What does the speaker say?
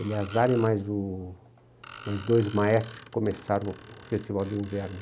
e mais o... mais dois maestros que começaram o festival de inverno.